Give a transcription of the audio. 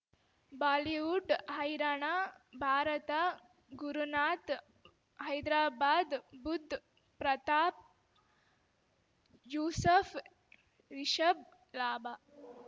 Bollywood ಹೈರಾಣ ಭಾರತ ಗುರುನಾತ್ ಹೈದರಾಬಾದ್ ಬುಧ್ ಪ್ರತಾಪ್ ಯೂಸಫ್ ರಿಷಬ್ ಲಾಭ